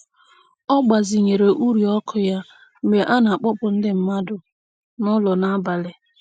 Ọ gbazinyere uri ọkụ ya mgbe a na-akpọpụ ndị mmadụ n'ụlọ n'abalị.